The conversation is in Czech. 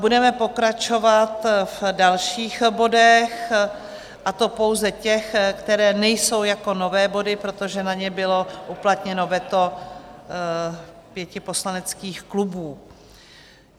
Budeme pokračovat v dalších bodech, a to pouze těch, které nejsou jako nové body, protože na ně bylo uplatněno veto pěti poslaneckých klubů.